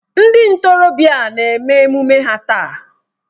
Ndị ntorobịa a na-eme emume ha taa.